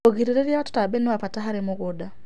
Ũgĩrĩrĩrĩa wa tũtambĩ nĩwa bata harĩ mũgũnda